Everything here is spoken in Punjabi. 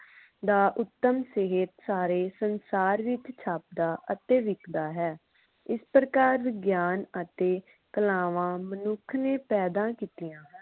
ਦਾ ਉਤਮ ਸਹਿਤ ਸਾਰੇ ਸੰਸਾਰ ਵਿਚ ਛਾਪਦਾ ਅਤੇ ਵਿਕਦਾ ਹੈ ਇਸ ਪ੍ਰਕਾਰ ਵਿਗਿਆਨ ਅਤੇ ਕਲਾਵਾਂ ਮਨੁੱਖ ਨੇ ਪੈਦਾ ਕੀਤੀਆਂ